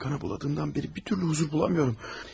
Əlimi qana buladımdan bəri bir türlü huzur bulamıyorum.